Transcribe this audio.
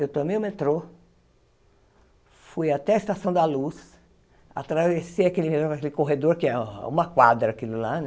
Eu tomei o metrô, fui até a Estação da Luz, atravessei aquele corredor, que é uma quadra aquilo lá, né?